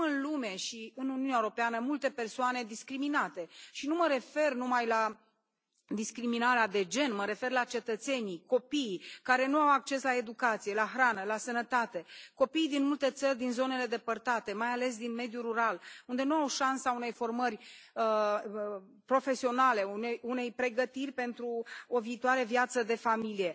Avem în lume și în Uniunea Europeană multe persoane discriminate, și nu mă refer numai la discriminarea de gen, mă refer la cetățenii, copiii, care nu au acces la educație, la hrană, la sănătate, copii din multe țări din zonele depărtate, mai ales din mediul rural, unde nu au șansa unei formări profesionale, unei pregătiri pentru o viitoare viață de familie.